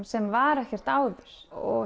sem var ekkert áður